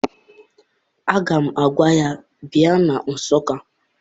Aga m agwa ya, bịa na Nsụka!